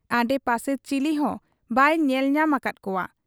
ᱟᱰᱮᱯᱟᱥᱮ ᱪᱤᱞᱤᱦᱚᱸ ᱵᱟᱭ ᱧᱮᱞ ᱧᱟᱢ ᱟᱠᱟᱫ ᱠᱚᱣᱟ ᱾